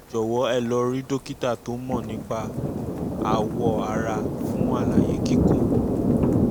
ẹ jọ̀wọ́ ẹ lọ rí dókítà tó mọ̀ nípa àwọ̀ um ara fún àlàyé kíkún um